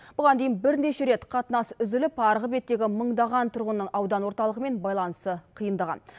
бұған дейін бірнеше рет қатынас үзіліп арғы беттегі мыңдаған тұрғынның аудан орталығымен байланысы қиындаған